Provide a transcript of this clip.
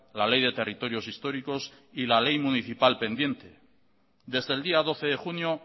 la ley de territorios históricos y la ley municipal pendiente desde el día doce de junio